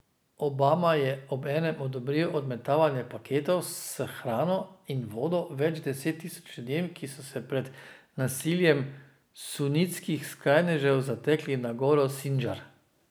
Obama je obenem odobril odmetavanje paketov s hrano in vodo več deset tisoč ljudem, ki so se pred nasiljem sunitskih skrajnežev zatekli na goro Sindžar.